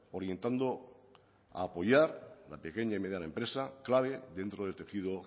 orientando a apoyar la pequeña y mediana empresa clave dentro del tejido